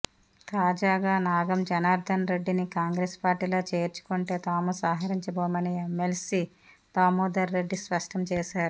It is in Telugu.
తాజాగా నాగం జనార్ధన్ రెడ్డిని కాంగ్రెస్ పార్టీలో చేర్చుకొంటే తాము సహకరించబోమని ఎమ్మెల్సీ దామోదర్ రెడ్డి స్పష్టం చేశారు